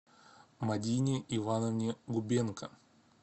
мадине ивановне губенко